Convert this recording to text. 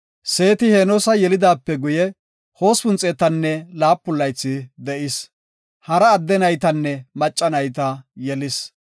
Seeti Henoosa yelidaape guye, 807 laythi de7is. Hara adde naytanne macca nayta yelis.